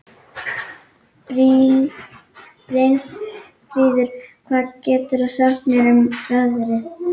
Brynfríður, hvað geturðu sagt mér um veðrið?